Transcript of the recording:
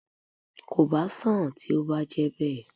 Kò bá sán-àn tí ó bá jẹ́ bẹ́ẹ̀